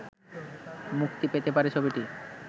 মুক্তি পেতে পারে ছবিটি